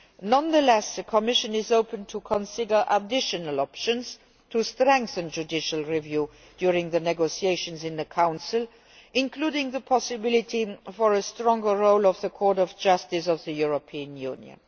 Nonetheless, the Commission is open to considering additional options to strengthen judicial review during the negotiations in the Council, including the possibility of a stronger role for the Court of Justice of the European Union.